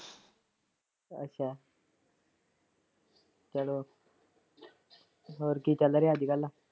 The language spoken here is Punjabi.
ਅੱਛਾ ਚਲੋ ਹੋਰ ਕੀ ਚੱਲ ਰਿਹਾ ਅਜ ਕਲ?